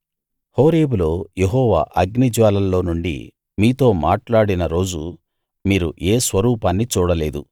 హోరేబులో యెహోవా అగ్నిజ్వాలల్లో నుండి మీతో మాట్లాడిన రోజు మీరు ఏ స్వరూపాన్నీ చూడలేదు